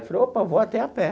Eu falei, opa, vou até a pé.